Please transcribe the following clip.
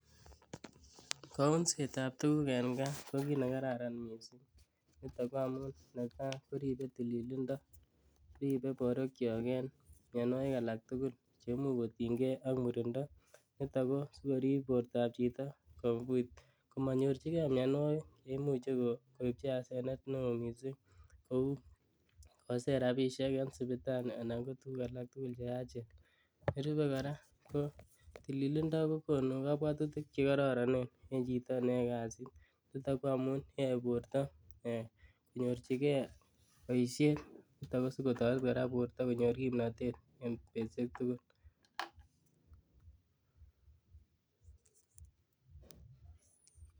Kounsetab tukuk en kaa ko kiit nekararan mising akoo amun netaa koribe tililindo, ribee borwekyok en mionwokik alak tukul cheimuch kotinykee ak murindo, niton kosikorib bortab chito komonyorchikee mionwokik cheimuche koibchi asenet neoo mising kouu koser rabishek en sipitali anan ko tukuk alak cheachen, nerube kora ko tililindo kokonu kobwotutik chekororonen en chito neyoe kasiit nitok ko amuun en borto konyorchikee boishet asikotoret kora borto konyor kimnotet en betushek tukul.